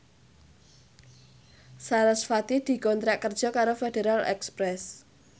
sarasvati dikontrak kerja karo Federal Express